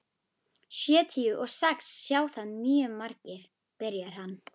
Sjötíu og sex sjá það mjög margir, byrjaði hann.